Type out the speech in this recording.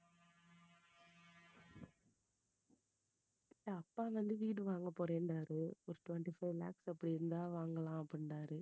அப்பா வந்து வீடு வாங்க போறேன்னாரு ஒரு twenty-four lakhs அப்படி இருந்தா வாங்கலாம் அப்படினாரு.